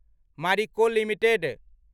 Marico limited